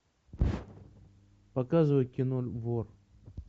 показывай кино вор